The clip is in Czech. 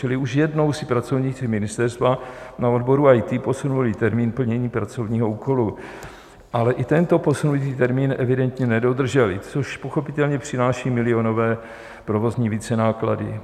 Čili už jednou si pracovníci ministerstva na odboru IT posunuli termín plnění pracovního úkolu, ale i tento posunutý termín evidentně nedodrželi, což pochopitelně přináší milionové provozní vícenáklady.